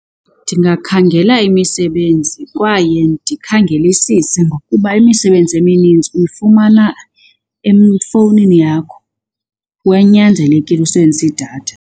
Ndingakhangela imisebenzi kwaye ndikhangelisise ngokuba imisebenzi emininzi uyifumana efowunini yakho kwaye kunyanzelekile usebenzise idatha.